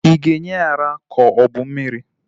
Ị ga-enye ya ara ka o bu mmiri?